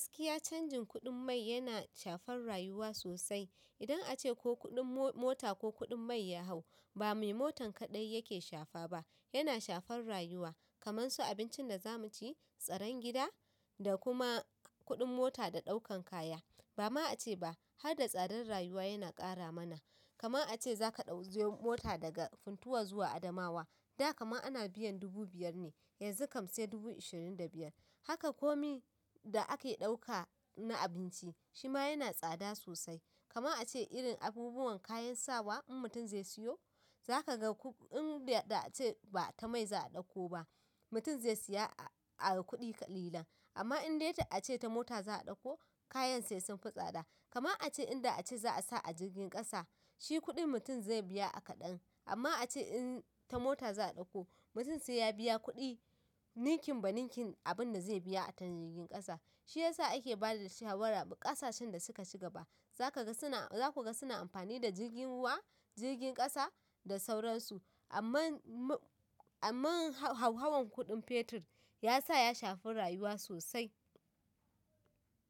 Gaskiya canjin kuɗin mai yana shafar rayuwa sosai. Idan ace ko kuɗin mota ko kuɗin mai ya hau ba me motan kaɗai yake shafa ba, yana shafar rayuwa. Kamansu abincin da za mu ci, tsaron gida, da kuma kuɗin mota da ɗaukan kaya. Ba ma a ce ba har da tsadar rayuwa yana ƙara mana. Kaman a ce za ka ɗau mota daga Funtua zuwa Adamawa, da kama ana biyan dubu biyar ne, yanzu kam sai dubu ashirin da biyar. Haka komi da ake ɗauka na abinci shi ma yana tsada sosai. Kaman a ce irin abubuwan kayan sawa in mutum zai siyo, za ka ga ko in da a ce ba ta mai za a ɗauko ba, mutum zai siya a, a kuɗi kalilan. Amma in dai ta a ce ta mota za a ɗauko, kayan sai sun fi tsada. Kaman a ce in da a ce za a sa a jirgin ƙasa, shi kuɗin mutum zai biya a kaɗan. Amma a ce in ta mota za a ɗauko, mutum sai ya biya kuɗi ninkin ba ninkin abin da zai biya ta jirgin ƙasa. Shi ya sa ake ba da shawara ƙasashen da suka shiga ba, za ku ga suna amfani da jirgin ruwa, jirgin ƙasa da sauransu. Amman hauhawan kuɗin fetur ya sa ya shafi rayuwa sosai.